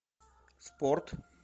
спорт